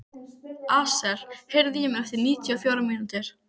Asael, heyrðu í mér eftir níutíu og fjórar mínútur.